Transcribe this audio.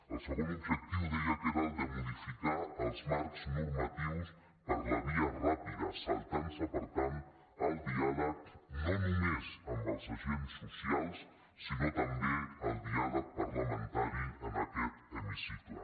el segon objectiu deia que era el de modificar els marcs normatius per la via ràpida saltant se per tant el diàleg no només amb els agents socials sinó també el diàleg parlamentari en aquest hemicicle